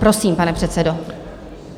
Prosím, pane předsedo.